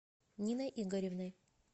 ниной игоревной